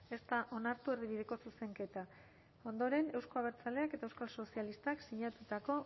ez da onartu erdibideko zuzenketa ondoren euzko abertzaleak eta euskal sozialistak sinatutako